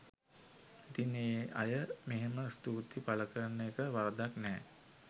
ඉතිං ඒ අය මෙහෙම ස්තුතිය පළ කරන එක වරදක් නෑ